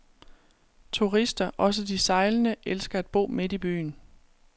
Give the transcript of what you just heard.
Turister, også de sejlende, elsker at bo midt i byen.